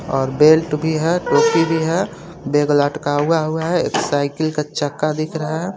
और बेल्ट भी हे टोपी भी हे बेग लटका हुआ हुआ हे एक साइकिल का चक्का दिख रहा हे.